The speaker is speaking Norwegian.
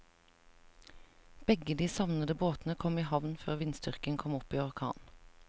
Begge de savnede båtene kom i havn før vindstyrken kom opp i orkan.